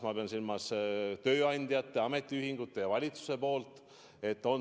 Ma pean silmas tööandjate, ametiühingute ja valitsuse kokkulepet.